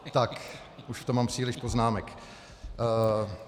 Tak, už tam mám příliš poznámek.